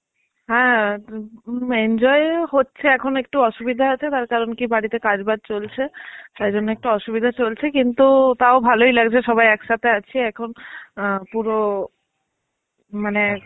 হ্যাঁ এম enjoy হচ্ছে এখন একটু অসুবিধা আছে. কারণ কি বাড়িতে কাজ বাজ চলছে. তাই জন্যে একটু অসুবিধা চলছে. কিন্তু, তাও ভালই লাগছে সবাই একসাথে আছি. এখন আ পুরো মানে